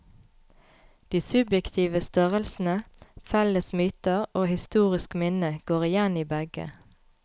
De subjektive størrelsene felles myter og historisk minne går igjen i begge.